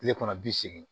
Kile kɔnɔ bi segin